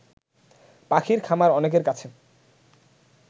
পাখির খামার অনেকের কাছে